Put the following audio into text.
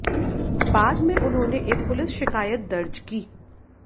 बाद में उन्होंने एक पुलिस शिकायत दर्ज की